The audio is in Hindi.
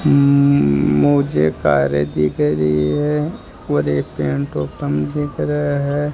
मुमु मुझे कारे दिख रही है और ये पेंट दिख रहा है।